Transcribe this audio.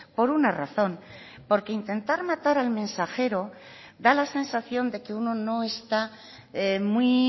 por una razón porque intentar matar al mensajero da la sensación de que uno no está muy